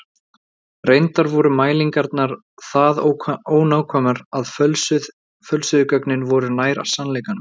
Reyndar voru mælingarnar það ónákvæmar að fölsuðu gögnin voru nær sannleikanum.